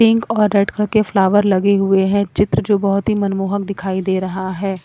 Pink और red colour के flower लगे हुए हैं चित्र जो बहोत ही मनमोहक दिखाई दे रहा हैं।